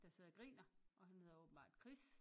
Der sidder og griner og han hedder åbenbart Chris